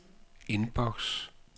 indboks